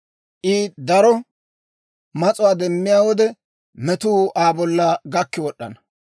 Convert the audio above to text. I daro mas'uwaa demmiyaa wode, metuu Aa bolla gakki wod'd'ana.